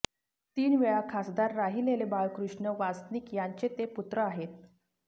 तीन वेळा खासदार राहिलेले बाळकृष्ण वासनिक यांचे ते पुत्र आहेत